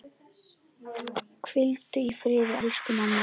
Hvíldu í friði, elsku mamma.